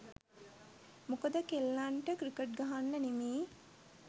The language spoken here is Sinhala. මොකද කෙල්ලන්ට ක්‍රිකට් ගහන්න නෙමෙයි